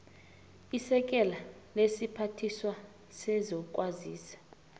isekela lesiphathiswa sezokwazisa